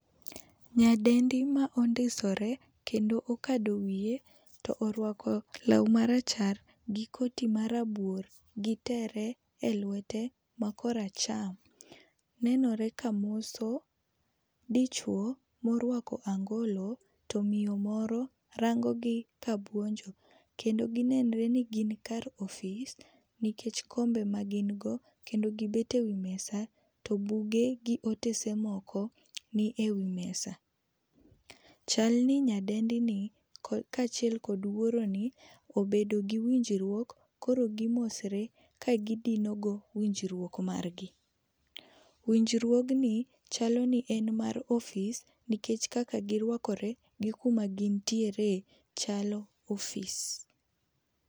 Nyadendi ma ondisore kendo okado wiye to orwako law ma rachar gi koti ma rabuor gi tere e lwete ma kor acham, nenore kamoso dichuo ma orwako angolo to miyo moro rango gi ka buonjo. Kendo nenore ni gin kar ofis nikech kombe ma gin go kendo gi bet e wi mesa to buge gi otese moko ni e wii mesa. Chal ni nyadendi ni kachiel kod wuoroni obedo gi winjruok koro gi mosore ka gi dino go winjruok mar gi. Winjruogni chalo ni en mar ofis nikech kaka gi rwaker gi kuma gin tiere chalo ofis.